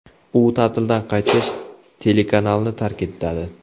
U ta’tildan qaytgach, telekanalni tark etadi.